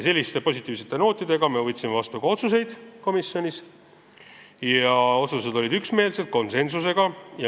Positiivsete nootidega võtsime komisjonis vastu ka otsused, mis olid üksmeelsed, konsensuslikud.